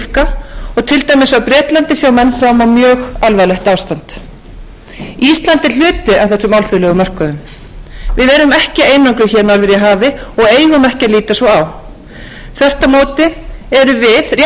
mjög alvarlegt ástand ísland er hluti af þessum alþjóðlegu mörkuðum við erum ekki einangruð hér norður í hafi og eigum ekki að líta svo á þvert á móti erum við rétt eins og önnur ríki tannhjól í hagkerfi heimsins þótt smátt sé okkar útflutningsgreinar hafa hlutverki að gegna